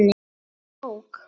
Elsku bók!